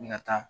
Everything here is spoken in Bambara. N ka taa